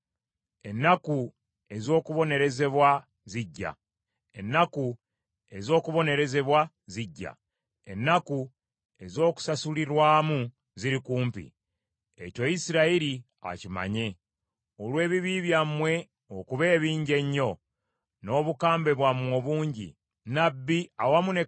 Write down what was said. Ennaku ez’okubonerezebwa zijja, ennaku ez’okusasulirwamu ziri kumpi. Ekyo Isirayiri akimanye. Olw’ebibi byammwe okuba ebingi ennyo, n’obukambwe bwammwe obungi, nnabbi ayitibwa musirusiru, n’oyo eyabikkulirwa mumuyita mugu wa ddalu.